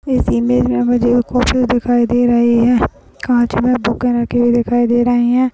इस इमेज मे मुझे एक दिखाई दे रहे है दिखाई दे रहे है ।